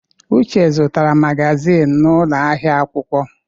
Uche zụtara magazin n'ụlọ ahịa akwụkwọ.